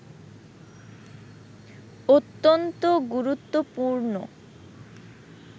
অত্যন্ত গুরুত্বপূর্ণ